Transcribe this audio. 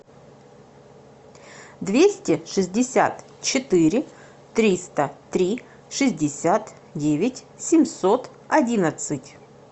двести шестьдесят четыре триста три шестьдесят девять семьсот одиннадцать